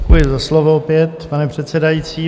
Děkuji za slovo opět, pane předsedající.